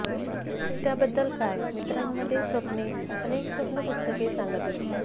त्या बद्दल काय मित्रांमध्ये स्वप्ने अनेक स्वप्न पुस्तके सांगितले